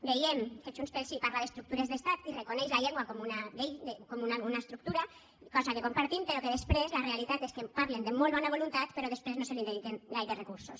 veiem que junts pel sí parla d’estructures d’estat i reconeix la llengua com una estructura cosa que compartim però que després la realitat és que en parlen de molt bona voluntat però després no se li dediquen gaires recursos